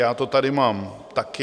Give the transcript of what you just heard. Já to tady mám taky.